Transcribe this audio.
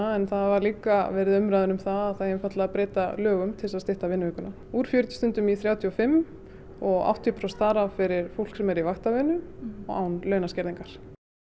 en það hafa líka verið umræður um að það eigi einfaldlega að breyta lögum til að stytta vinnuvikuna úr fjörutíu stundum í þrjátíu og fimm og áttatíu prósent þarf af fyrir fólk sem er í vaktavinnu og án launaskerðingar